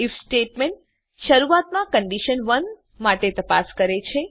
if statement શરૂઆતમાં condition 1 માટે તપાસ કરે છે